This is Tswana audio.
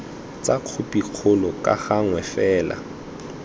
tsa khopikgolo ka gangwe fela